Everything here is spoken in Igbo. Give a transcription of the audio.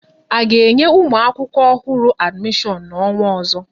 A ga-enye ụmụ akwụkwọ ọhụrụ adimishon n'ọnwa ozo?